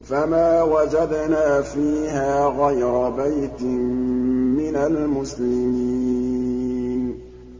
فَمَا وَجَدْنَا فِيهَا غَيْرَ بَيْتٍ مِّنَ الْمُسْلِمِينَ